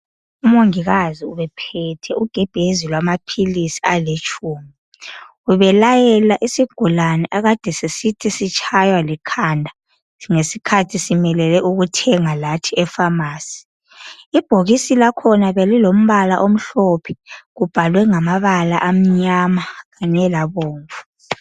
Umongikazi ubephethe ugebhezi lwamaphilisi alitshumi..Ubelayela isigulane akade sisithi sitshaywa likhanda. Ngesikhathi simelele lathi ukuthenga epharmacy. Ibhokisi lakhona belilamabala amnyama, kanye lamhlophe.